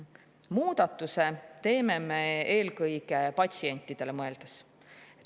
Muudatuse teeme me eelkõige patsientidele mõeldes.